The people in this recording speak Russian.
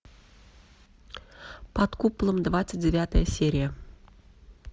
под куполом двадцать девятая серия